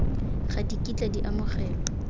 ga di kitla di amogelwa